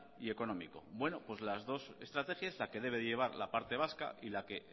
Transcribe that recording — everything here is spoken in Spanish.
y económico bueno pues las dos estrategias la que debe llevar la parte vasca y la que